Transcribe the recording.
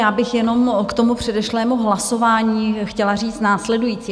Já bych jenom k tomu předešlému hlasování chtěla říct následující.